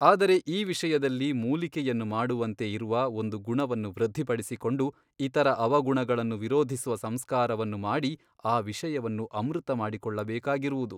ಆದರೆ ಈ ವಿಷಯದಲ್ಲಿ ಮೂಲಿಕೆಯನ್ನು ಮಾಡುವಂತೆ ಇರುವ ಒಂದು ಗುಣವನ್ನು ವೃದ್ಧಿಪಡಿಸಿಕೊಂಡು ಇತರ ಅವಗುಣಗಳನ್ನು ನಿರೋಧಿಸುವ ಸಂಸ್ಕಾರವನ್ನು ಮಾಡಿ ಈ ವಿಷಯವನ್ನು ಅಮೃತಮಾಡಿಕೊಳ್ಳಬೇಕಾಗಿರುವುದು.